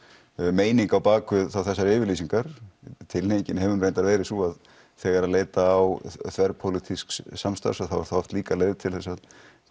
meining á bakvið þessar yfirlýsingar tilhneigingin hefur nú reyndar verið sú að þegar leita á þverpólitísks samstarfs þá er það oft líka leið til þess að